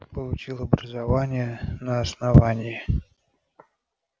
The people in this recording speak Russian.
получил образование на основании